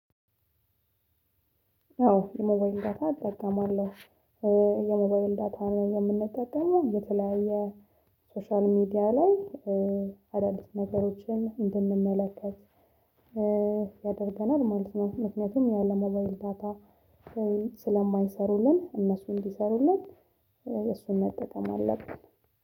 አዎ የሞባይል ዳታ እጠቀማለሁ። የሞባይል ዳታ የምንጠቀመው የተለያየ ሶሻል ሚዲያ ላይ አዳዲስ ነገሮችን እንድንመለከት ያደርገናል ማለት ነው። ምክንያቱም ያለምባይል ዳታ ስለማይሰሩልን እነሱ እንዲሰሩልን እሱን መጠቀም አለብን